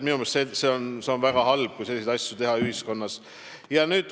Minu meelest see on väga halb.